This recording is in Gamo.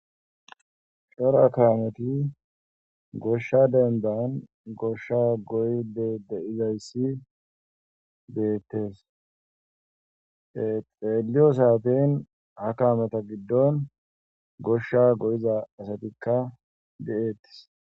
shora kameti goshsha dendan goshsha goyde deizayssi deettes exiraeliyo saafeyn ha kaameta giddon goshsha go7iza asatikka de7eettis